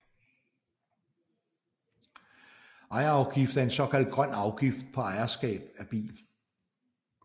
Ejerafgift er en såkaldt grøn afgift på ejerskab af bil